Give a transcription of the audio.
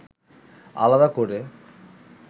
আলাদা করে